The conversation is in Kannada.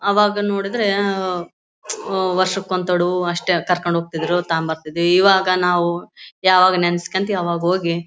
ಅವಾಗ ನೋಡಿದ್ರೆ ಆಹ್ಹ್ ಓಹ್ ವರ್ಷಕ್ಕೆ ಒಂದು ತಡು ಅಷ್ಟೇ ಕರ್ಕೊಂಡು ಹೋಗ್ತಿದ್ರು ತಗೊಂಡು ಬರ್ತಿದ್ರು ಇವಾಗ ನಾವು ಯಾವಾಗ ನೆನಸ್ಕೊಳ್ತಿವಿ ಅವಾಗ ಹೋಗಿ.